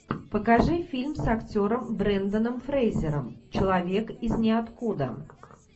покажи фильм с актером бренданом фрейзером человек из ниоткуда